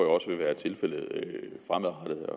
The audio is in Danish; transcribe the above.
også vil være tilfældet fremadrettet